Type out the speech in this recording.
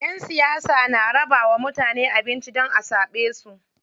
Ƴan siyasa na rabawa mutane abinci don a zaɓe su.